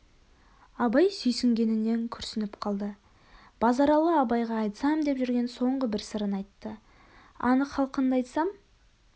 абай сүйсінгенінен күрсініп қалды базаралы абайға айтсам деп жүрген соңғы бір сырын айтты анық халқынды айтсам